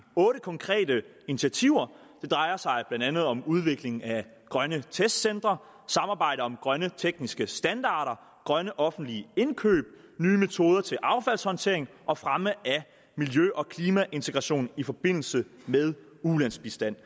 otte konkrete initiativer det drejer sig blandt andet om udvikling af grønne testcentre samarbejde om grønne tekniske standarder grønne offentlige indkøb nye metoder til affaldshåndtering og fremme af miljø og klimaintegration i forbindelse med ulandsbistand